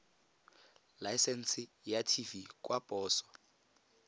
laesense ya tv kwa poso